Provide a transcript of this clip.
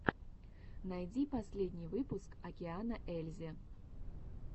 найди последний выпуск океана ельзи